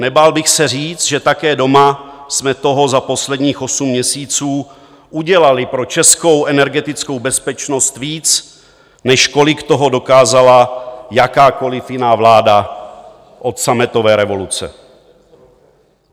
Nebál bych se říct, že také doma jsme toho za posledních osm měsíců udělali pro českou energetickou bezpečnost víc, než kolik toho dokázala jakákoli jiná vláda od sametové revoluce.